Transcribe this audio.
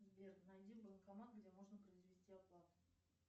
сбер найди банкомат где можно произвести оплату